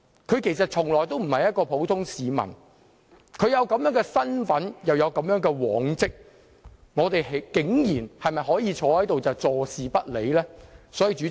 他其實從來不是一名普通市民，既有這種身份，亦有如此往績，我們是否可以坐視不理呢？